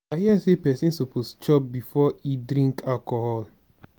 i hear sey pesin suppose chop before e drink alcohol.